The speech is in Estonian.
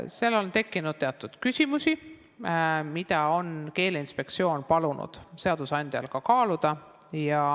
Seal on tekkinud teatud küsimusi, mida Keeleinspektsioon on palunud seadusandjal kaaluda.